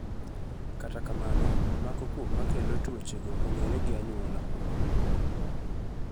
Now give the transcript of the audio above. Kata kamano mako kuom makelo tuoche go ong'ere gi anyuola moko.